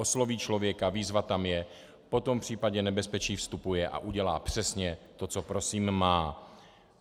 Osloví člověka, výzva tam je, potom v případě nebezpečí vstupuje a udělá přesně to, co prosím má.